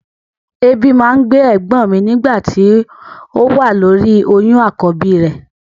Èébì máa ń gbé ẹ̀gbọ́n mi nígbà tó wà lóri oyún àkọ́bí rẹ̀.